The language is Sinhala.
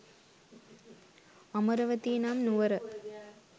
අමරවතී නම් නුවර